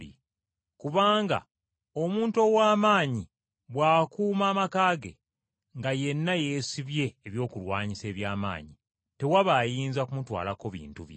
“Kubanga omuntu ow’amaanyi bw’akuuma amaka ge, nga yenna yeesibye ebyokulwanyisa eby’amaanyi, tewaba ayinza kumutwalako bintu bye.